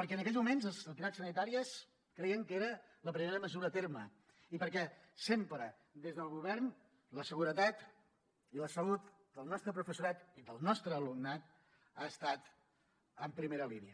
perquè en aquells moments les entitats sanitàries creien que era la primera mesura a dur a terme i perquè sempre des del govern la seguretat i la salut del nostre professorat i del nostre alumnat han estat en primera línia